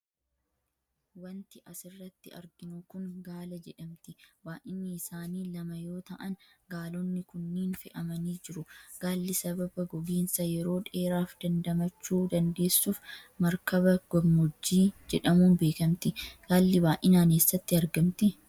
Wanti as irratti arginu kun gaala jedhamti. Baa'yinni isaanii lama yoo ta'an, gaalonni kunniin fe'amanii jiru. Gaalli sababa gogiinsa yeroo dheeraaf dandamachuu dandeessuuf markaba gammoojjii jedhamuun beekamti. Gaalli baay'inaan eessatti argamti?